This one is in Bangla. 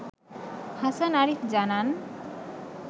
হাসান আরিফ জানান